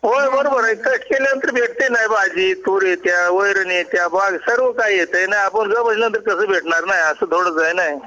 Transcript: हो कष्ट केल्या नंतर भेटणं भाजी तूर येतया वैरणी येतात बॅग सर्व काही येतना आपण जस म्हटलं तस भेटणार असं थोडीच आहे ना